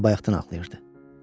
Özü də bayaqdan ağlayırdı.